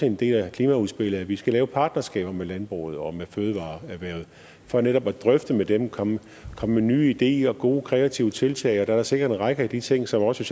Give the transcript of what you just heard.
en del af klimaudspillet at vi skal lave partnerskaber med landbruget og med fødevareerhvervet for netop at drøfte det med dem komme med nye ideer og gode kreative tiltag og der er sikkert en række af de ting som også